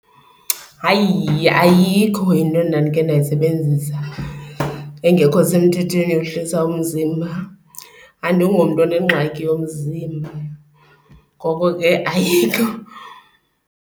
Hayi, ayikho into endandikhe ndayisebenzisa engekho semthethweni yohlisa umzimba. Andingomntu onengxaki yomzimba ngoko ke ayikho.